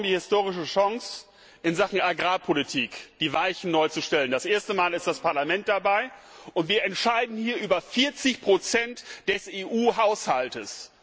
Wir haben morgen die historische Chance, in Sachen Agrarpolitik die Weichen neu zu stellen. Das erste Mal ist das Parlament dabei! Und wir entscheiden hier über 40 des EU Haushalts.